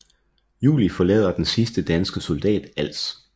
Juli forlader den sidste danske soldat Als